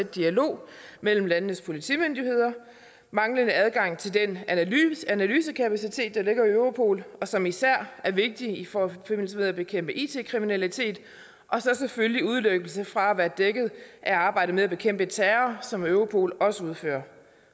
dialog mellem landenes politimyndigheder manglende adgang til den analysekapacitet der ligger i europol og som især er vigtig i forbindelse med at bekæmpe it kriminalitet og så selvfølgelig udelukkelse fra at være dækket af arbejdet med at bekæmpe terror som europol også udfører